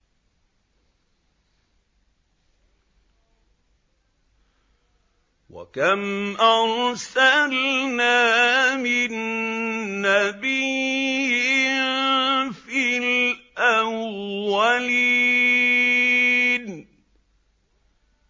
وَكَمْ أَرْسَلْنَا مِن نَّبِيٍّ فِي الْأَوَّلِينَ